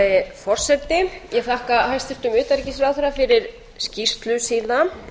virðulegi forseti ég þakka hæstvirtum utanríkisráðherra fyrir skýrslu sína mér